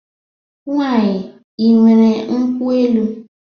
Nwaanyị, ị nwere nkwụ elu?